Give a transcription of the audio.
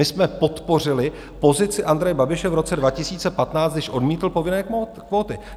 My jsme podpořili pozici Andreje Babiše v roce 2015, když odmítl povinné kvóty.